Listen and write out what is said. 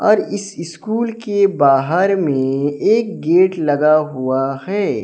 और इस स्कूल के बाहर में एक गेट लगा हुआ है।